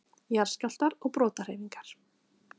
Jarðskjálftar og brotahreyfingar